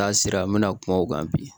N'a sera an mi na kuma o kan bi